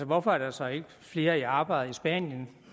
hvorfor er der så ikke flere i arbejde i spanien